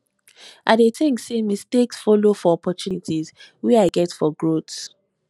i dey think say mistakes follow for opportunities wey i get for growth